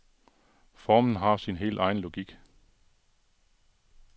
Formen har sin helt egen logik.